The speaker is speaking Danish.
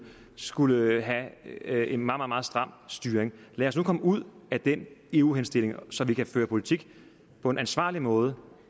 skulle have have en meget meget stram styring lad os nu komme ud af den eu henstilling så vi kan føre politik på en ansvarlig måde